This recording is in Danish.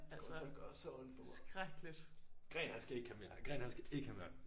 Det kommer til at gøre så ondt på mig. Gren han skal ikke have mere Gren han skal ikke have mere